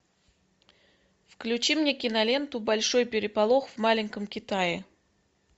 включи мне киноленту большой переполох в маленьком китае